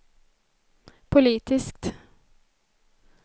politiskt